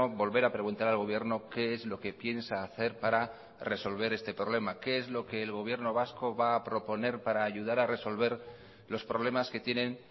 volver a preguntar al gobierno qué es lo que piensa hacer para resolver este problema qué es lo que el gobierno vasco va a proponer para ayudar a resolver los problemas que tienen